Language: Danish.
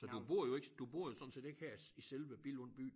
Så du bor jo ikke du bor jo sådan set ikke her i selve Billund by